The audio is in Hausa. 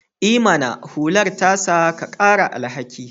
I mana! hular ta sa ka ƙara alhaki